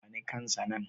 bani kansa nan!